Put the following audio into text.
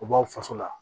U b'aw faso la